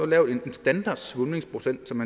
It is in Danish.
lavet en standardsvulmningsprocent som